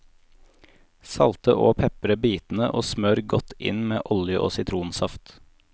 Salte og pepre bitene, og smør godt inn med olje og sitronsaft.